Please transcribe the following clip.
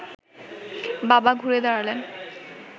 বাবা ঘুরে দাঁড়ালেন